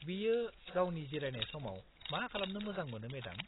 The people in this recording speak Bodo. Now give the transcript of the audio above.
-बियो गावनि जिरायनाय समाव मा खालामनो मोजां मोनो, मेडाम?